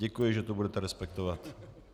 Děkuji, že to budete respektovat.